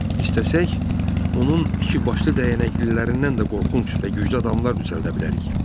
İstəsək, onun iki başlı dəyənəklilərindən də qorxunc və güclü adamlar düzəldə bilərik.